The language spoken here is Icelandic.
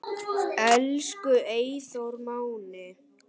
Elsku Eyþór Máni.